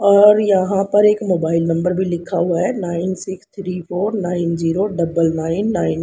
और यहां पर एक मोबाइल नंबर भी लिखा हुआ है nine six three four nine zero double nine nine.